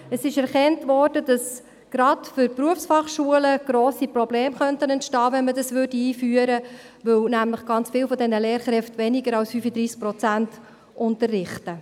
Es wurde erkannt, dass gerade für Berufsfachschulen grosse Probleme entstehen könnten, wenn man dies einführen würde, weil nämlich ganz viele dieser Lehrkräfte weniger als 35 Prozent unterrichten.